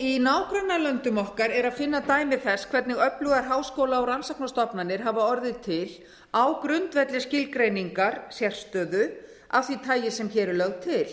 í nágrannalöndum okkar er að finna dæmi þess hvernig öflugar háskóla og rannsóknastofnanir hafa orðið til á grundvelli skilgreiningar sérstöðu af því tagi sem hér er lögð til